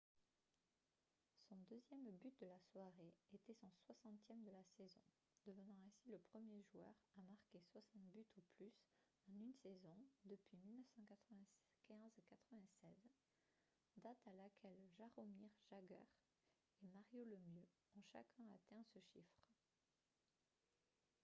son deuxième but de la soirée était son 60e de la saison devenant ainsi le premier joueur à marquer 60 buts ou plus en une saison depuis 1995-96 date à laquelle jaromir jagr et mario lemieux ont chacun atteint ce chiffre